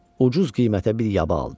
Ucuz qiymətə bir yaba aldı.